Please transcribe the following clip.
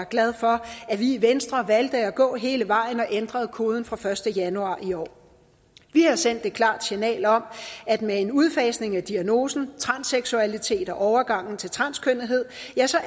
glad for at vi i venstre valgte at gå hele vejen og ændrede koden fra første januar i år vi har sendt et klart signal om at med en udfasning af diagnosen transseksualitet og overgangen til transkønnethed